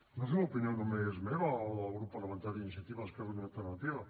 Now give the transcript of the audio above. no és una opinió només meva o del grup parlamentari d’iniciativa esquerra unida i alternativa